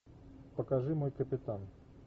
покажи мой капитан